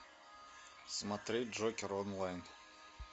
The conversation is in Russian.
смотреть джокер онлайн